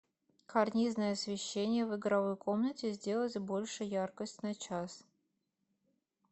карнизное освещение в игровой комнате сделать больше яркость на час